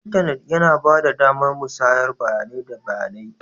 Intanit yana ba da damar musayar bayanai da bayanai.